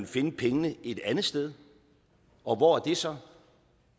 finde pengene et andet sted og hvor er det så